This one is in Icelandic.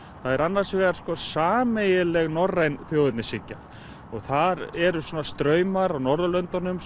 það er annars vegar sameiginleg norræn þjóðernishyggja og þar eru svona straumar á Norðurlöndunum